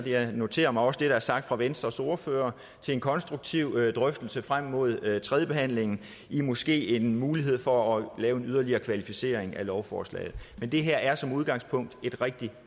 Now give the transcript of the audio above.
jeg noterer mig også det der er sagt fra venstres ordfører en konstruktiv drøftelse frem mod tredjebehandlingen måske med en mulighed for at lave en yderligere kvalificering af lovforslaget men det her er som udgangspunkt et rigtig